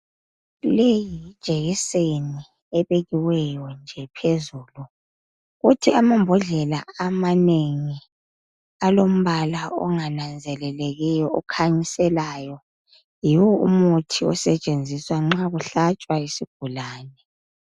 Leyi yijekiseni ebekiweyo nje phezulu kuthi amambhodlela amanengi alombala ongananzelelekiyo okhanyiselayo yiwo umuthi osetshenziswa nxa ukuhlatshwa isigulane.